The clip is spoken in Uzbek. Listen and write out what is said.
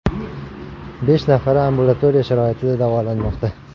Besh nafari ambulatoriya sharoitida davolanmoqda.